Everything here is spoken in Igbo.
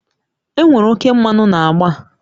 Enwere oke mmanụ na agba a